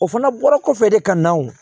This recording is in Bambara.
O fana bɔra kɔfɛ de ka na o